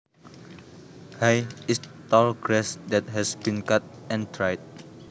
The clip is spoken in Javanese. Hay is tall grass that has been cut and dried